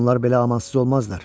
Onlar belə amansız olmazlar.